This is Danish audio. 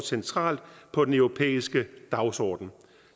centralt på den europæiske dagsordenen